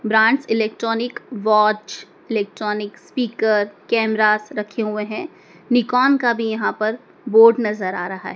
Branch electronic watch electronic speaker cameras रखे हुए हैं निकोन का भी यहां पर बोर्ड नजर आ रहा है।